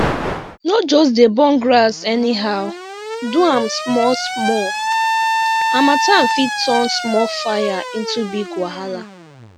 no just burn grass anyhow do am small small harmattan fit turn small fire to big wahala